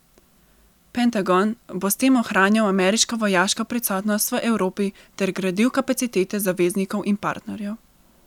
Pentagon bo s tem ohranjal ameriško vojaško prisotnost v Evropi ter gradil kapacitete zaveznikov in partnerjev.